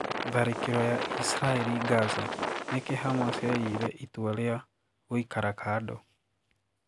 Tharikiro ya Israel Gaza: Niki Hamas yayire itua ria gũikara kado?